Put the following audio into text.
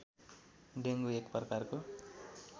dengue एक प्रकारको